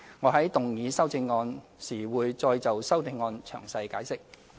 我在動議修正案時會再就修正案詳細解釋。